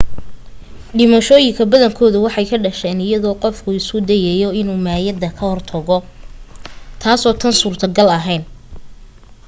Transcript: dhimashooyinka badankoodu waxay ka dhasheen iyadoo qofku isku dayayo inuu maayadda ka hortago taasoo aan suuro gal ahayn